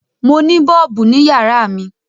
Mo ni bọ́ọ̀bù ní yàrá mi.